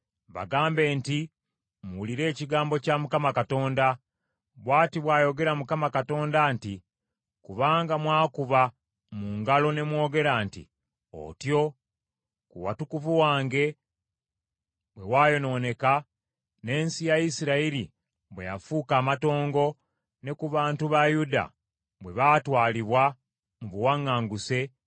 Bagambe nti, ‘Muwulire ekigambo kya Mukama Katonda. Bw’ati bw’ayogera Mukama Katonda nti, kubanga mwakuba mu ngalo ne mwogera nti, “Otyo!” ku watukuvu wange bwe wayonooneka, n’ensi ya Isirayiri bwe yafuuka amatongo, ne ku bantu ba Yuda bwe baatwalibwa mu buwaŋŋanguse,